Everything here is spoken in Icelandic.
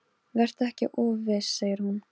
Nú fór þeim loks að verða nóg boðið.